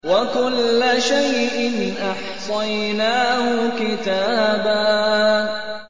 وَكُلَّ شَيْءٍ أَحْصَيْنَاهُ كِتَابًا